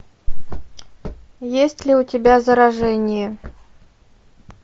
есть ли у тебя заражение